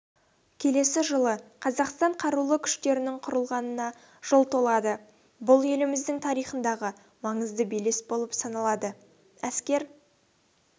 келесі жылы қазақстан қарулы күштерінің құрылғанына жыл толады бұл еліміздің тарихындағы маңызды белес болып саналады әскер